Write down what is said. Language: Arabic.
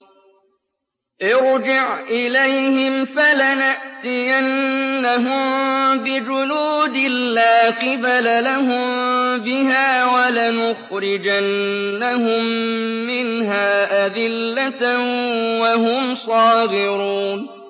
ارْجِعْ إِلَيْهِمْ فَلَنَأْتِيَنَّهُم بِجُنُودٍ لَّا قِبَلَ لَهُم بِهَا وَلَنُخْرِجَنَّهُم مِّنْهَا أَذِلَّةً وَهُمْ صَاغِرُونَ